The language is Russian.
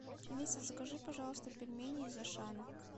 алиса закажи пожалуйста пельмени из ашана